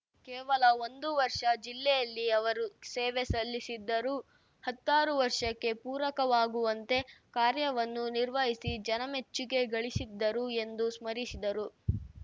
ಕೇವಲ ಒಂದು ವರ್ಷ ಜಿಲ್ಲೆಯಲ್ಲಿ ಅವರು ಸೇವೆ ಸಲ್ಲಿಸಿದ್ದರೂ ಹತ್ತಾರು ವರ್ಷಕ್ಕೆ ಪೂರಕವಾಗುವಂತೆ ಕಾರ್ಯವನ್ನು ನಿರ್ವಹಿಸಿ ಜನಮೆಚ್ಚುಗೆ ಗಳಿಸಿದ್ದರು ಎಂದು ಸ್ಮರಿಸಿದರು